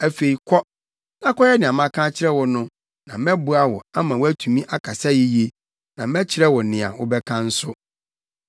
Afei kɔ, na kɔyɛ nea maka akyerɛ wo no na mɛboa wo ama woatumi akasa yiye, na mɛkyerɛ wo nea wobɛka nso.”